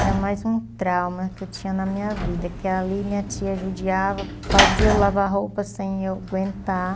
Era mais um trauma que eu tinha na minha vida, que ali minha tia judiava, fazia eu lavar roupa sem eu aguentar.